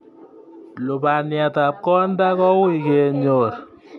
Lubaniatab konda kouy kenyor